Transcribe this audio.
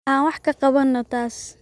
Aan wax ka qabanno taas